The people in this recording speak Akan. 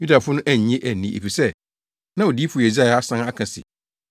Yudafo no annye anni efisɛ, na Odiyifo Yesaia asan aka se,